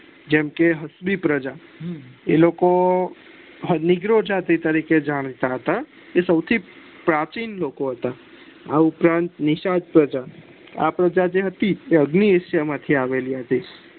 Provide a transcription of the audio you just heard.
જેમકે પ્રજા એલોકો તરીકે જાણતા તા એ સો થી પ્રાચીન લોકો હતો આ ઉપરાંત નિશાંત પ્રજા આ પ્રજા જે હતી એ અગ્નિ હિસા માં આવેલી હતી